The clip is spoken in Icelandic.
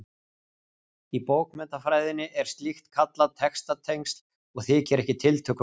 Í bókmenntafræðinni er slíkt kallað textatengsl og þykir ekki tiltökumál.